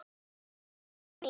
Elsku Klara mín.